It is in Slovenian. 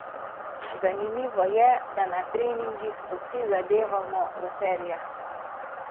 Zanimivo je, da na treningih vsi zadevamo v serijah.